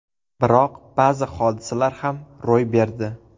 Biroq ba’zi hodisalar ham ro‘y berdi.